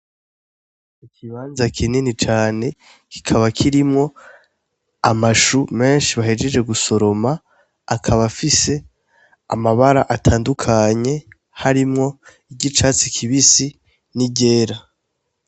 Ikibanza kinini cane, kikaba kirimwo amashu menshi bahejeje gusoroma, akaba afise amabara atandukanye, harimwo iry'icatsi kibisi ni ryera.